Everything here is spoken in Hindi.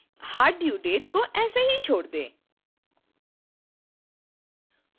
hard due date को ऐसे ही छोड़ दें